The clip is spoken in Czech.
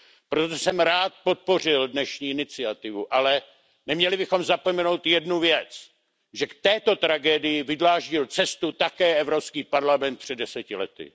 Proto jsem rád podpořil dnešní iniciativu, ale neměli bychom zapomenout jednu věc, že k této tragédii vydláždil cestu také Evropský parlament před deseti lety.